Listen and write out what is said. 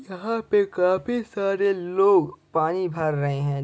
यहाँ पे काफी सारे लोग पानी भर रहे है।